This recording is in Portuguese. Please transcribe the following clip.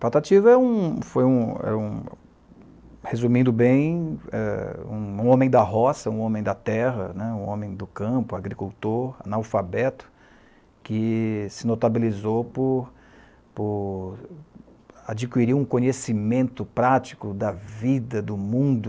Patativa foi, em um, foi um resumindo bem, um homem da roça, um homem da terra né, um homem do campo, agricultor, analfabeto, que se notabilizou por por adquirir um conhecimento prático da vida, do mundo,